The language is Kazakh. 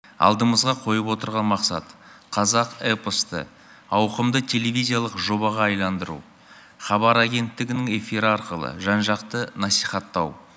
алдымызға қойып отырған масқат қазақ эпосты ауқымды телевизиялық жобаға айналдыру хабар агенттігінің эфирі арқылы жан жақты насихаттау